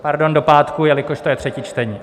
Pardon, do pátku, jelikož to je třetí čtení.